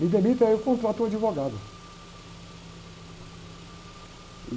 Me demitem, aí eu contrato uma advogada.